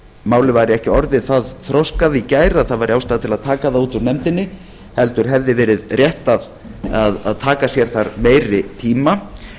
málið væri ekki orðið það þroskað í gær að það væri ástæða til að taka það út úr nefndinni heldur hefði verið rétt að taka sér þar meiri tíma